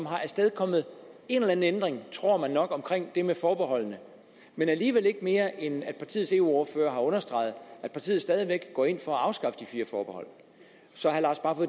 har afstedkommet en eller anden ændring tror man nok om det med forbeholdene men alligevel ikke mere end at partiets eu ordfører har understreget at partiet stadig væk går ind for at afskaffe de fire forbehold så